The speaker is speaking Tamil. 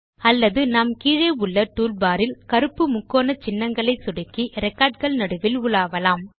அல்லது நாம் கீழே உள்ள டூல்பார் இல் கருப்பு முக்கோண சின்னங்களை சொடுக்கி ரெக்கார்ட் கள் நடுவில் உலாவலாம்